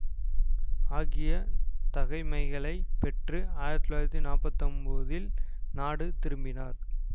ஆகிய தகைமைகளைப் பெற்று ஆயிரத்தி தொள்ளாயிரத்தி நாற்பத்தி ஒம்போதில் நாடு திரும்பினார்